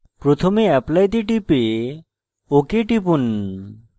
প্রথমে apply তে টিপে ok টিপুন